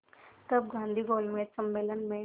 तब गांधी गोलमेज सम्मेलन में